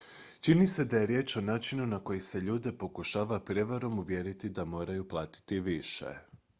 čini se da je riječ o načinu na koji se ljude pokušava prijevarom uvjeriti da moraju platiti više